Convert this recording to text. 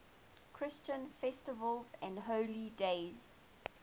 christian festivals and holy days